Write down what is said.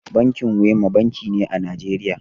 Binkin Wema banki ne a Najeriya.